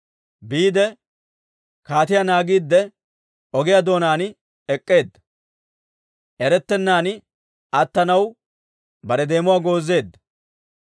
Biide, kaatiyaa naagiidde ogiyaa doonaan ek'k'eedda. Erettennaan attanaw bare deemuwaa goozeedda.